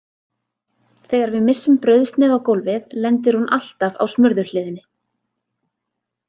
Þegar við missum brauðsneið á gólfið lendir hún alltaf á smurðu hliðinni.